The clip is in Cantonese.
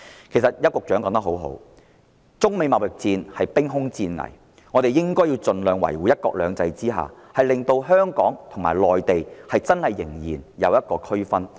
其實邱局長說得很好，中美貿易戰兵凶戰危，我們應該盡量維護"一國兩制"，使香港和內地真的仍然存在區別。